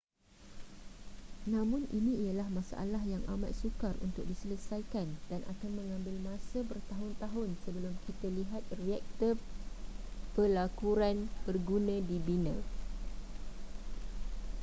namun ini ialah masalah yang amat sukar untuk diselesaikan dan akan mengambil masa bertahun-tahun sebelum kita lihat reaktor pelakuran berguna dibina